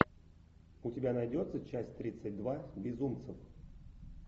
у тебя найдется часть тридцать два безумцев